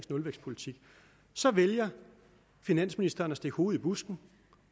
nulvækstpolitik vælger finansministeren at stikke hovedet i busken